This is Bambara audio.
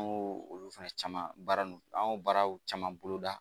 An y'o olu fɛnɛ caman baara ninnu an y'o baaraw caman bolo da